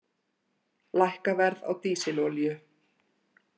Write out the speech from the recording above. Lækka verð á dísilolíu